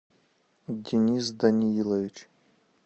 денис даниилович